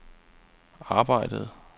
arbejdede